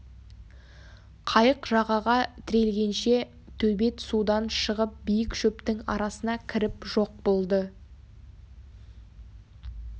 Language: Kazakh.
қайық жағаға тірелгенше төбет судан шығып биік шөптің арасына кіріп жоқ болды